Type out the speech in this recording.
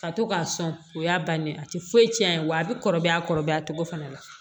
Ka to k'a sɔn o y'a bannen ye a tɛ foyi tiɲɛ a ye wa a bɛ kɔrɔbaya a kɔrɔbaya cogo fana la